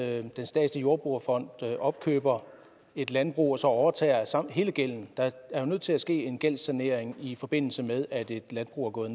at den statslige jordbrugerfond opkøber et landbrug og så overtager hele gælden der er jo nødt til at ske en gældssanering i forbindelse med at et landbrug er gået